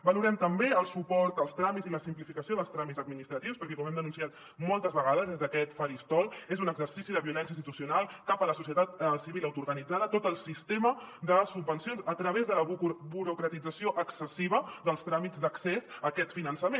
valorem també el suport als tràmits i la simplificació dels tràmits administratius perquè com hem denunciat moltes vegades des d’aquest faristol és un exercici de violència institucional cap a la societat civil autoorganitzada tot el sistema de subvencions a través de la burocratització excessiva dels tràmits d’accés a aquest finançament